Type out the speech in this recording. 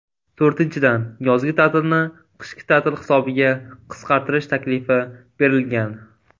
To‘rtinchidan , yozgi ta’tilni qishki ta’til hisobiga qisqartirish taklifi berilgan.